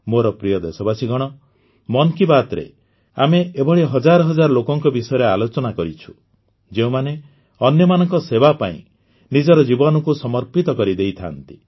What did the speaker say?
ମୋର ପ୍ରିୟ ଦେଶବାସୀଗଣ ମନ କି ବାତ୍ରେ ଆମେ ଏଭଳି ହଜାର ହଜାର ଲୋକଙ୍କ ବିଷୟରେ ଆଲୋଚନା କରିଛୁ ଯେଉଁମାନେ ଅନ୍ୟମାନଙ୍କ ସେବା ପାଇଁ ନିଜର ଜୀବନକୁ ସମର୍ପିତ କରିଦେଇଥାଆନ୍ତି